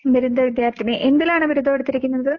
ബിരുദ വിദ്യാർഥിനി. എന്തിലാണ് ബിരുദവെടുത്തിരിക്കുന്നത്?